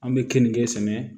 An bɛ keninke sɛnɛ